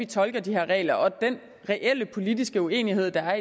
tolke de regler og den reelle politiske uenighed der